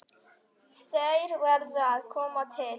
Þær verði að koma til.